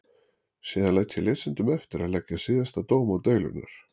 Síðan læt ég lesendum eftir að leggja síðasta dóm á deilurnar.